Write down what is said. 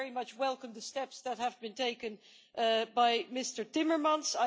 I very much welcome the steps that have been taken by Mr Timmermans.